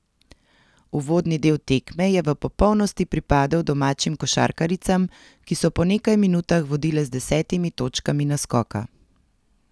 Uvodni del tekme je v popolnosti pripadel domačim košarkaricam, ki so po nekaj minutah vodile z desetimi točkami naskoka.